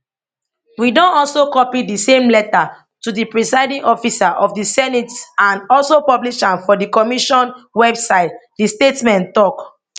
we don also copy di same letter to di presiding officer of di senate and also publish am for di commission website di statement tok